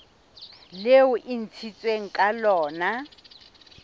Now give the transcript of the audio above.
leo e ntshitsweng ka lona